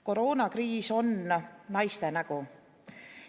Koroonakriis on naiste nägu.